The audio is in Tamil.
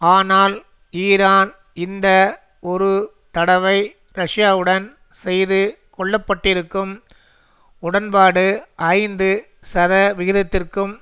ஆனால் ஈரான் இந்த ஒரு தடவை ரஷ்யாவுடன் செய்து கொள்ளப்பட்டிருக்கும் உடன்பாடு ஐந்து சதவிகிதத்திற்கும்